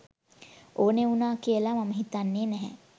ඕනෙ වුනා කියලා මම හිතන්නෙ නෑ.